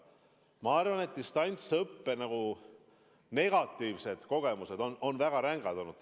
Ma arvan, et distantsõppe negatiivsed kogemused on ühiskonnale väga rängad olnud.